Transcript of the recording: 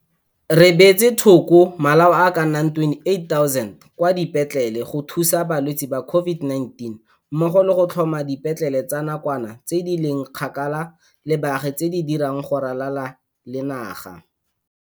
20 Re beetse thoko malao a ka nna 28 000 kwa dipetlele go thusa balwetse ba COVID-19 mmogo le go tlhoma dipetlele tsa nakwana tse di leng kgakala le baagi tse di dirang go ralala le naga.